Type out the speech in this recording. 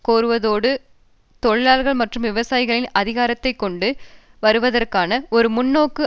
கோருவதோடு தொழிலாளர்கள் மற்றும் விவசாயிகளின் அதிகாரத்தை கொண்டு வருவதற்கான ஒரு முன்நோக்கை